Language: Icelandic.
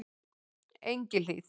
Engihlíð